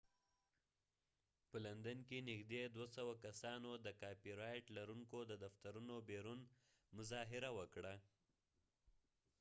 په لندن کې نږدې 200 کسانو د کاپی رایټ لرونکو د دفترونو بیرون مظاهره وکړه